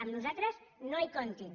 amb nosaltres no hi comptin